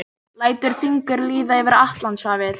Lætur fingur líða yfir Atlantshafið.